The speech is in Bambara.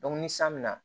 ni san bɛ na